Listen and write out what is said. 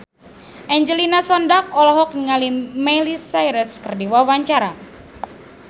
Angelina Sondakh olohok ningali Miley Cyrus keur diwawancara